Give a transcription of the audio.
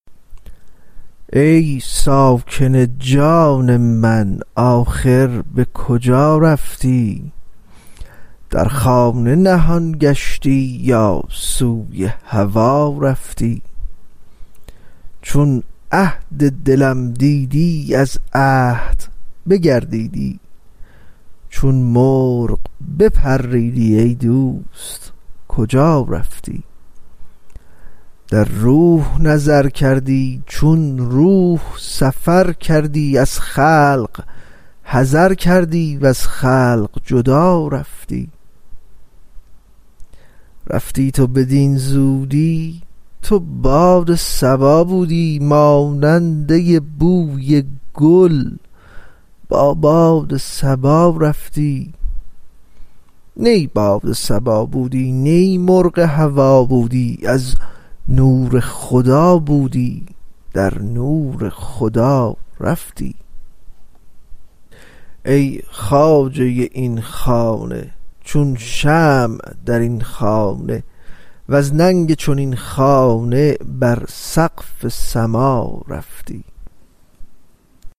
ای ساکن جان من آخر به کجا رفتی در خانه نهان گشتی یا سوی هوا رفتی چون عهد دلم دیدی از عهد بگردیدی چون مرغ بپریدی ای دوست کجا رفتی در روح نظر کردی چون روح سفر کردی از خلق حذر کردی وز خلق جدا رفتی رفتی تو بدین زودی تو باد صبا بودی ماننده بوی گل با باد صبا رفتی نی باد صبا بودی نی مرغ هوا بودی از نور خدا بودی در نور خدا رفتی ای خواجه این خانه چون شمع در این خانه وز ننگ چنین خانه بر سقف سما رفتی